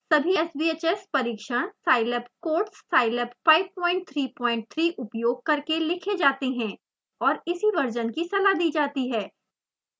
सभी sbhs परिक्षण scilab codes scilab 533 उपयोग करके लिखे जाते हैं और इसी वर्शन की सलाह दी जाती है